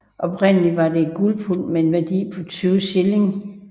Oprindelig var den et guldpund med en værdi på 20 shilling